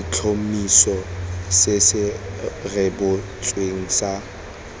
letlhomeso se se rebotsweng sa